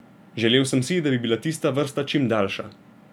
Želel sem si, da bi bila tista vrsta čim daljša.